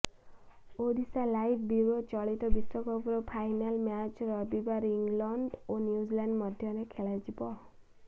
Odisha live bureau ଚଳିତ ବିଶ୍ବକପର final match ରବିବାର ଇଂଲଣ୍ଡ ଓ ନ୍ୟୁଜିଲାଣ୍ଡ ମଧ୍ୟରେ ଖେଳାଯିବ